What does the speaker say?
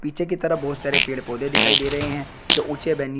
पीछे की तरफ बहोत सारे पेड़ पौधे दिखाई दे रहे हैं जो ऊंचे बनी--